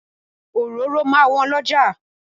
Òróró máa wọ́n lọ́jà.